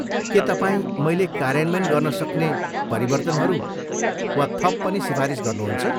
के तपाईँ मैले कार्यान्वयन गर्न सक्ने परिवर्तनहरू वा थप पनि सिफारिस गर्नुहुन्छ?